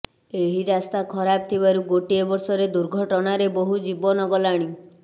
ଏହି ରାସ୍ତା ଖରାପ ଥିବାରୁ ଗୋଟିଏ ବର୍ଷ ରେ ଦୁର୍ଘଟଣା ରେ ବୋହୁ ଜୀବନ ଗଲାଣି